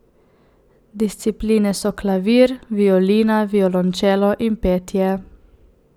Discipline so klavir, violina, violončelo in petje.